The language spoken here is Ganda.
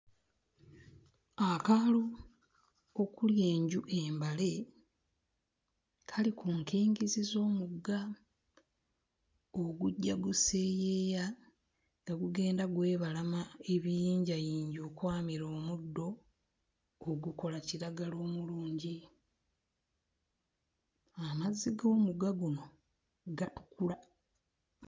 Akaalo okuli enju embale kali ku nkingizi z'omugga ogujja guseeyeeya nga gugenda gwebalama ebiyinjayinja okwamera omuddo ogukola kiragala omulungi, amazzi g'omugga guno gatukula.